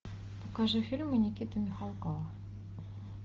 покажи фильмы никиты михалкова